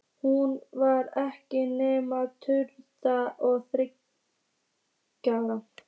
Hún var ekki nema tuttugu og þriggja ára.